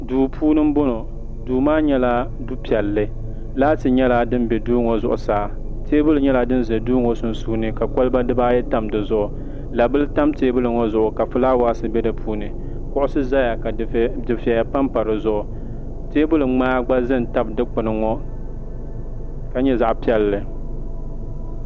duu puuni n bɔŋɔ duu maa nyɛla du piɛlli laati nyɛla din bɛ duu ŋɔ zuɣusaa teebuli nyɛla din ʒɛ duu ŋɔ sunsuuni ka kɔlba dibayi tan dizuɣu labili tam teebuli ŋɔ zuɣu ka fulaawaasi bɛ di puuni kuɣusi ʒɛya ka dufɛya panpa dizuɣu teebuli ŋmaa gba ʒɛ n tabi dikpuni ŋɔ ka nyɛ zaɣ piɛlli